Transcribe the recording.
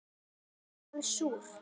Alveg bara súr